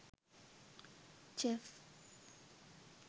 chef